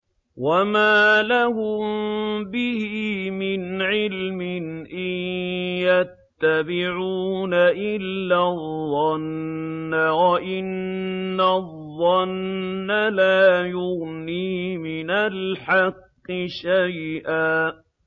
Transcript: وَمَا لَهُم بِهِ مِنْ عِلْمٍ ۖ إِن يَتَّبِعُونَ إِلَّا الظَّنَّ ۖ وَإِنَّ الظَّنَّ لَا يُغْنِي مِنَ الْحَقِّ شَيْئًا